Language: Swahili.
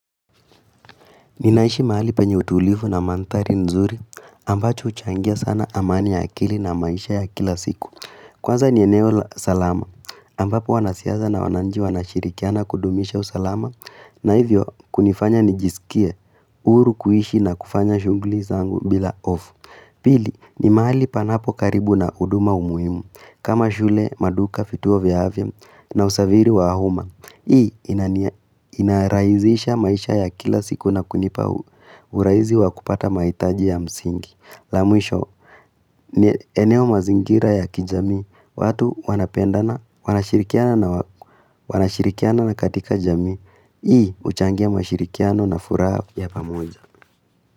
Ninaishi mahali penyeutulivu na mandhari nzuri ambacho uchangia sana amani ya akili na maisha ya kila siku. Kwaza nieneo la salama ambapo wanasiasa na wananchi wanashirikiana kudumisha usalama na hivyo kunifanya nijisikie huru kuishi na kufanya shunguli zangu bila hofu. Pili ni mahali panapo karibu na huduma umuimu kama shule, maduka, vituo vya afya na usafiri wa uma. Hii inaraizisha maisha ya kila siku na kunipa uraizi wa kupata maitaji ya msingi Lamwisho, eneo mazingira ya kijami, watu wanapendana, wanashirikiana na katika jamii Hii uchangia mashirikiano na furaha ya pamoja.